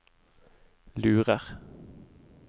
lurer